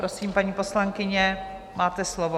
Prosím, paní poslankyně, máte slovo.